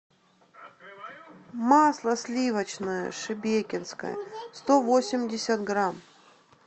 масло сливочное шебекинское сто восемьдесят грамм